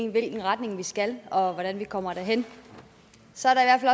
i hvilken retning vi skal og hvordan vi kommer derhen så er der i